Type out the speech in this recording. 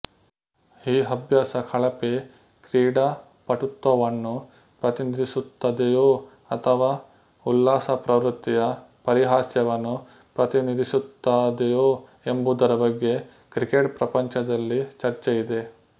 ಈ ಅಭ್ಯಾಸ ಕಳಪೆ ಕ್ರೀಡಾಪಟುತ್ವವನ್ನು ಪ್ರತಿನಿಧಿಸುತ್ತದೆಯೋ ಅಥವಾ ಉಲ್ಲಾಸ ಪ್ರವೃತ್ತಿಯ ಪರಿಹಾಸ್ಯವನ್ನು ಪ್ರತಿನಿಧಿಸುತ್ತದೆಯೋ ಎಂಬುದರ ಬಗ್ಗೆ ಕ್ರಿಕೆಟ್ ಪ್ರಪಂಚದಲ್ಲಿ ಚರ್ಚೆಯಿದೆ